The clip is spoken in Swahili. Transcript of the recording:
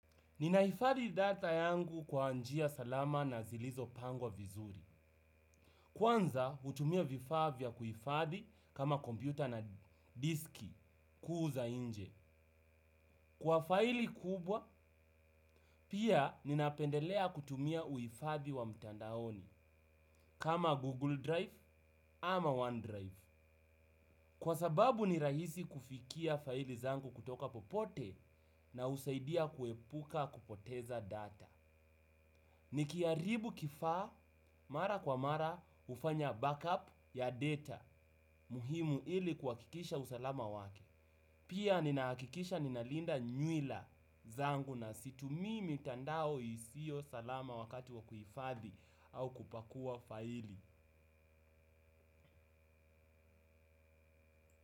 Nina hifadhi data yangu kwa njia salama na zilizo pangwa vizuri. Kwanza, hutumia vifaa vya kuhifadhi kama kompyuta na diski kuu za nje. Kwa faili kubwa, pia ninapendelea kutumia uhifadhi wa mtandaoni kama Google Drive ama OneDrive. Kwa sababu ni rahisi kufikia faili zangu kutoka popote na husaidia kuepuka kupoteza data. Nikiharibu kifaa mara kwa mara hufanya backup ya data muhimu ili kuhakikisha usalama wake. Pia nina hakisha ninalinda nyuila zangu na situmii mitandao isio salama wakati wa kuhifadhi au kupakua faili.